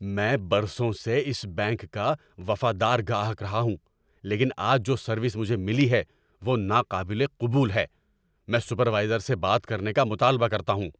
میں برسوں سے اس بینک کا وفادار گاہک رہا ہوں لیکن آج جو سروس مجھے ملی ہے وہ ناقابل قبول ہے۔ میں سپروائزر سے بات کرنے کا مطالبہ کرتا ہوں!